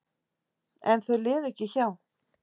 En þau liðu ekki hjá.